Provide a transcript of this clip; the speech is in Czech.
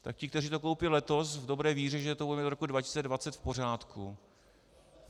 Tak ti, kteří to koupí letos v dobré víře, že to bude do roku 2020 v pořádku...